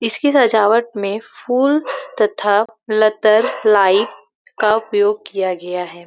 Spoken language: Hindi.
इसकी सजावट में फूल तथा लत्तर लाइट का उपयोग किया गया है|